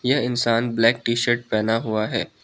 यह इंसान black T shirt पहना हुआ है।